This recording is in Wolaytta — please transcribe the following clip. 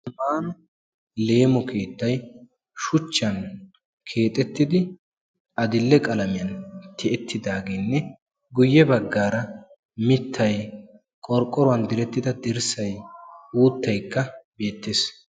Hagan leemo keettay shuchchaan keexettidi adil"e qaamiyaan tiyettidageenne guye baggaara mittay qorqqouruwaan direttida dirssay uuttayikka beettees.